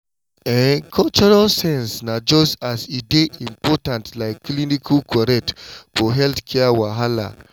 ehn cultural sense na just as e dey important like clinical correct for healthcare wahala.